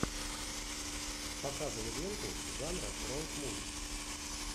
показывай ленту жанра роуд муви